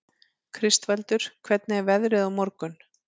Kristvaldur, hvernig er veðrið á morgun?